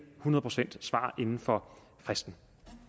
hundrede procent inden for fristen